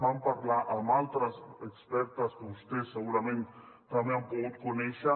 vam parlar amb altres expertes que vostès segurament també han pogut conèixer